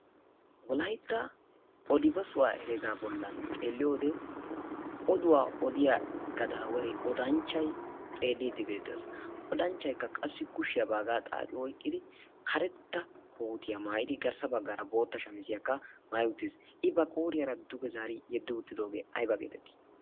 wolaytta odi bessuwa heregaa boli xeeliyode karetta kootiya maayidi bola bagaara bootta maayidi ayba geetettii?